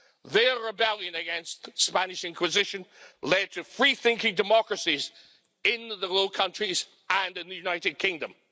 Their rebellion against the Spanish Inquisition led to free thinking democracies in the Low Countries and in the United Kingdom.